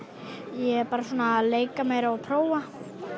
ég er bara svona að leika mér og prófa